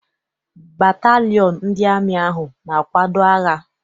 Batalịon ndị amị ahụ na-akwado agha.